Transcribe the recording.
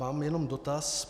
Mám jen dotaz: